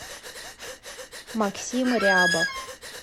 максим рябов